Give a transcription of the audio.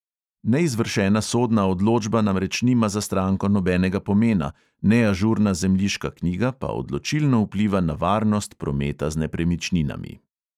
Neizvršena sodna odločba namreč nima za stranko nobenega pomena, neažurna zemljiška knjiga pa odločilno vpliva na varnost prometa z nepremičninami.